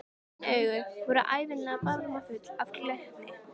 Græn augun voru ævinlega barmafull af glettni.